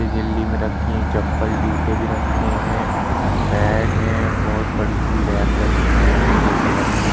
झिल्ली में रखी हैं। चप्पल-जूते भी रखे हैं। बैग हैं। बोहोत बड़ी सी रैक बनी हुई है पीले कलर की।